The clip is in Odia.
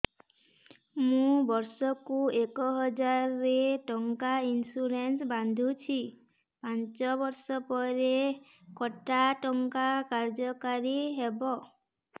ମୁ ବର୍ଷ କୁ ଏକ ହଜାରେ ଟଙ୍କା ଇନ୍ସୁରେନ୍ସ ବାନ୍ଧୁଛି ପାଞ୍ଚ ବର୍ଷ ପରେ କଟା ଟଙ୍କା କାର୍ଯ୍ୟ କାରି ହେବ